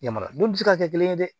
Yamaruya don bɛ se ka kɛ kelen ye dɛ